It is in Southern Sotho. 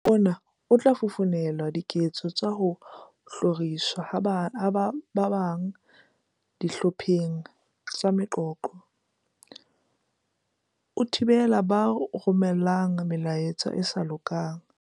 "Mokgwa ona o tla fofonela diketso tsa ho hloriswa ha ba bang dihlopheng tsa meqoqo, o thibele ba romelang melaetsa e sa lokang."